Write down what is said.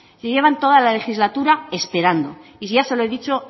llevan toda la legislatura esperando y ya se lo he dicho